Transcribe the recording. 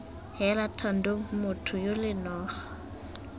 heela thando motho yole noga